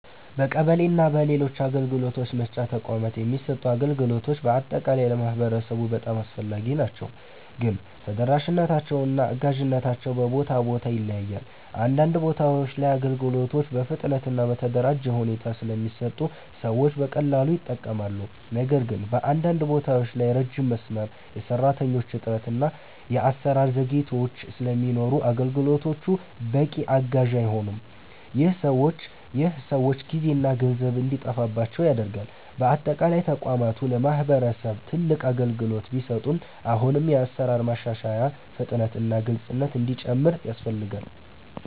በቀበሌ እና በሌሎች የአገልግሎት መስጫ ተቋማት የሚሰጡ አገልግሎቶች በአጠቃላይ ለማህበረሰቡ በጣም አስፈላጊ ናቸው፣ ግን ተደራሽነታቸው እና አጋዥነታቸው በቦታ ቦታ ይለያያል። አንዳንድ ቦታዎች ላይ አገልግሎቶች በፍጥነት እና በተደራጀ ሁኔታ ስለሚሰጡ ሰዎች በቀላሉ ይጠቀማሉ። ነገር ግን በአንዳንድ ቦታዎች ላይ ረጅም መስመር፣ የሰራተኞች እጥረት እና የአሰራር ዘግይቶች ስለሚኖሩ አገልግሎቶቹ በቂ አጋዥ አይሆኑም። ይህ ሰዎች ጊዜና ገንዘብ እንዲጠፋባቸው ያደርጋል። በአጠቃላይ ተቋማቱ ለማህበረሰብ ትልቅ አገልግሎት ቢሰጡም አሁንም የአሰራር ማሻሻያ፣ ፍጥነት እና ግልፅነት እንዲጨምር ያስፈልጋል።